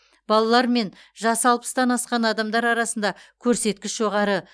балалар мен жасы алпыстан асқан адамдар арасында көрсеткіш жоғары